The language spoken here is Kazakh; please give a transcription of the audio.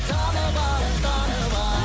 танып ал танып ал